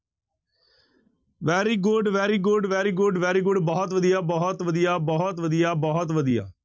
Very good, very good, very good, very good ਬਹੁਤ ਵਧੀਆ, ਬਹੁਤ ਵਧੀਆ, ਬਹੁਤ ਵਧੀਆ, ਬਹੁਤ ਵਧੀਆ।